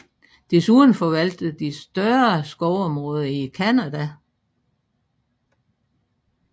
Desuden forvalter de større skovområder i Canada